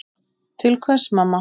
Til hvers mamma?